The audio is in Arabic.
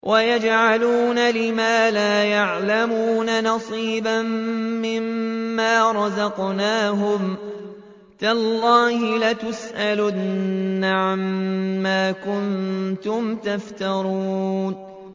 وَيَجْعَلُونَ لِمَا لَا يَعْلَمُونَ نَصِيبًا مِّمَّا رَزَقْنَاهُمْ ۗ تَاللَّهِ لَتُسْأَلُنَّ عَمَّا كُنتُمْ تَفْتَرُونَ